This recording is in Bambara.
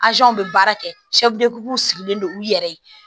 bɛ baara kɛ sigilen don u yɛrɛ ye